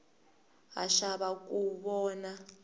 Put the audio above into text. ha xava ku vona